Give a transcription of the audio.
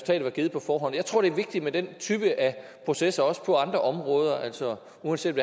var givet på forhånd jeg tror det er vigtigt med den type af processer også på andre områder altså uanset